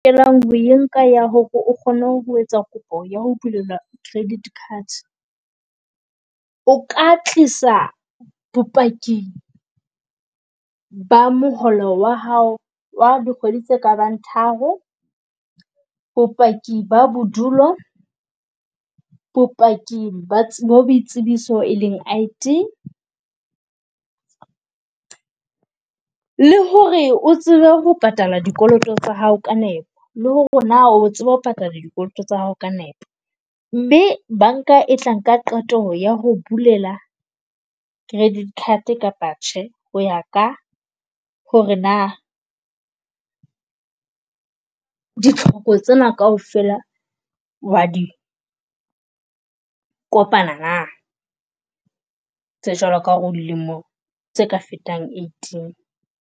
Ho e nka ya ho re o kgone ho etsa kopo ya ho belelwa credit card. O ka tlisa bopaki ba moholo wa hao wa dikgwedi tse kabang tharo, bopaki ba bodulo, bopaki ba boitsebiso e leng I_D. Le ho re o tsebe ho patala dikoloto tsa hao ka nepo, le ho re na o tseba ho patala dikoloto tsa hao ka nepo. Mme banka e tla nka qeto ya ho o bulela credit card kapa cheque, ho ya ka ho re na ditlhoko tsena kaofela wa di kopana na. Tse jwalo ka ho re o dilemo tse ka fetang eighteen.